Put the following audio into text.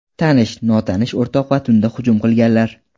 Tanish, notanish o‘rtoq va tunda hujum qilganlar.